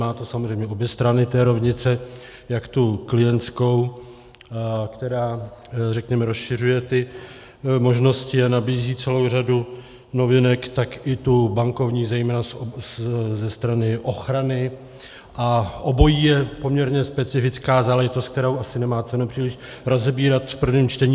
Má to samozřejmě obě strany té rovnice, jak tu klientskou, která, řekněme, rozšiřuje ty možnosti a nabízí celou řadu novinek, tak i tu bankovní, zejména ze strany ochrany, a obojí je poměrně specifická záležitost, kterou asi nemá cenu příliš rozebírat v prvním čtení.